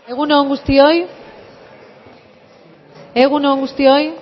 egun on guztioi egun on guztioi